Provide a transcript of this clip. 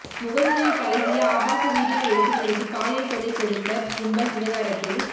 முகநூலில் பழகி ஆபாச வீடியோ எடுத்து மிரட்டி பாலியல் தொல்லை கொடுத்த கும்பல் விவகாரத்தில்